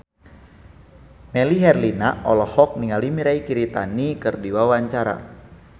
Melly Herlina olohok ningali Mirei Kiritani keur diwawancara